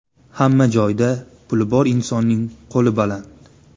Hamma joyda puli bor insonning qo‘li baland.